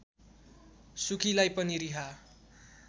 सुकीलाई पनि रिहा